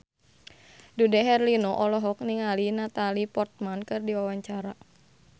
Dude Herlino olohok ningali Natalie Portman keur diwawancara